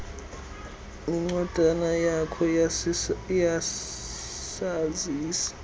nencwadana yakho yesazisi